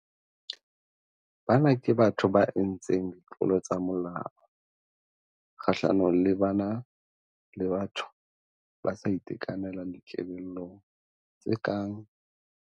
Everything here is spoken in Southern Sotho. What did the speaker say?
Bana ke batho ba entseng ditlolo tsa molao kgahlanong le bana le batho ba sa itekanelang dikelellong, tse kang.